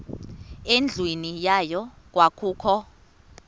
endlwini yayo kwakukho